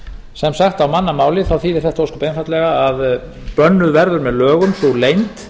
sem sagt á mannamáli þýðir þetta ósköp einfaldlega að bönnuð verður með lögum sú leynd